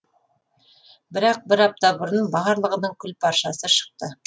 бірақ бір апта бұрын барлығының күл паршасы шықты